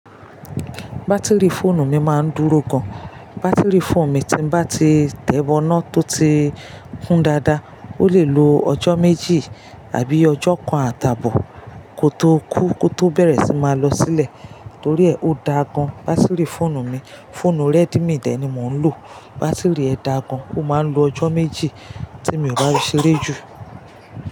Batiri fóònù mi máa ń dúró gan. Batiri fóònù mi tí n bá ti tẹ̀wọ́nà tó ti kún dáadáa, ó lè lo ọjọ́ méjì àbí ọjọ́ kan àtàbò kó tó kú kó tó bẹ̀rẹ̀ sí máa lọ sílẹ̀ torí ẹ ó da gan batiri fóònù mi. Fóònù Redmi dé ni mò ń lò, batiri ẹ da gan, ó máa ń lo ọjọ́ méjì tí mi ò bá fí sére jù.